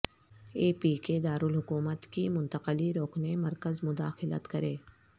اے P کے دارالحکومت کی منتقلی روکنے مرکز مداخلت کرے